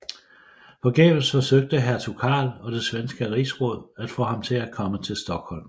Forgæves forsøgte hertug Karl og det svenske rigsråd at få ham til at komme til Stockholm